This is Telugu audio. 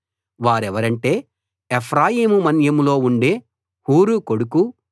వారెవరంటే ఎఫ్రాయిము మన్యంలో ఉండే హూరు కొడుకు